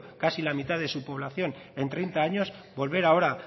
casi la mitad de su población en treinta años volver ahora